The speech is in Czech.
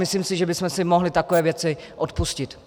Myslím si, že bychom si mohli takové věci odpustit.